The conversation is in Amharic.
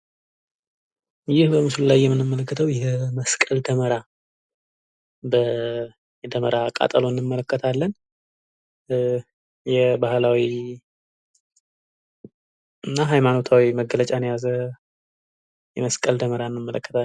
ይህ በምስሉ ላይ የምንመለከተው የመስቀል ደመራ ። የደመራ ቃጠሎ እንመለከታለን የባህላዊ እና ሃይማኖታዊ መገለጫን የያዘ የመስቀል ደመራ እንመለከታለን ።